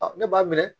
ne b'a minɛ